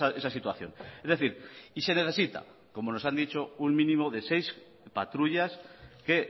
esa situación es decir y se necesita como nos han dicho un mínimo de seis patrullas que